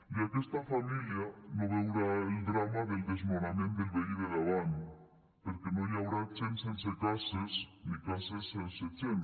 i aquesta família no veurà el drama del desnonament del veí del davant perquè no hi haurà gent sense cases ni cases sense gent